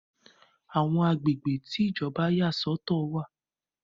Àwọn agbègbè tí Ìjọba yà sọ̀tọ̀ wà.